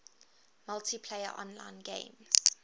multiplayer online games